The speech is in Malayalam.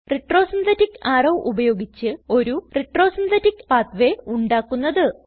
retro സിന്തെറ്റിക് അറോ ഉപയോഗിച്ച് ഒരു retro സിന്തെറ്റിക് പാത്വേ ഉണ്ടാക്കുന്നത്